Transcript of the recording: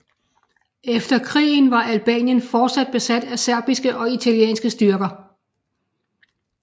Efter krigen var Albanien fortsat besat af serbiske og italienske styrker